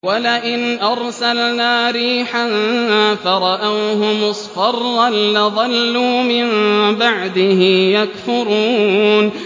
وَلَئِنْ أَرْسَلْنَا رِيحًا فَرَأَوْهُ مُصْفَرًّا لَّظَلُّوا مِن بَعْدِهِ يَكْفُرُونَ